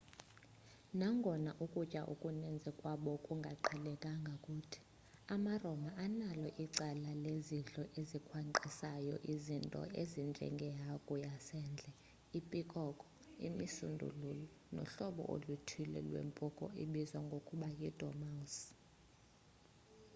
nangona ukutya okuninzi kwabo kungaqheleka kuthi amaroma analo icala lezidlo ezikhwankqisayo izinto ezinjenge hagu yasendle pikoko imisundululu nohlobo oluthile lwempuku ebizwa ngokuba yi dormouse